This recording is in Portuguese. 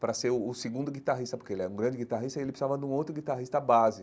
Para ser o o segundo guitarrista, porque ele é um grande guitarrista, ele precisava de um outro guitarrista base.